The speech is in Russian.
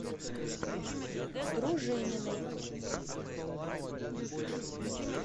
дружининой